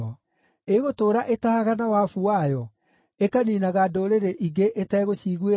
Ĩĩgũtũũra ĩtahaga na wabu wayo, ĩkaniinaga ndũrĩrĩ ingĩ ĩtegũciguĩra tha?